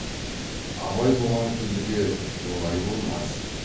абай бұған күлді де олай болмас